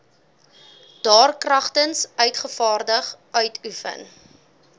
daarkragtens uitgevaardig uitoefen